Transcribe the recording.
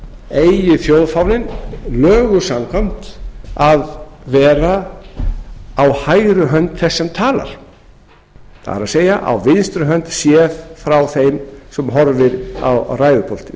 eigi þjóðfáninn lögum samkvæmt að vera á hægri hönd þess sem talar það er á vinstri hönd séð frá þeim sem horfir á ræðupúltið